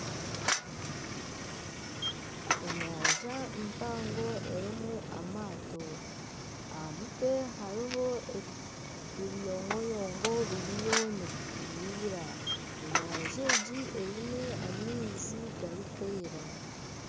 Enyanja mpango erimu amaato aha mutwe hariho ebiyongoyongo biriyo nibituruura enyanja egi eine amaizi garikwera.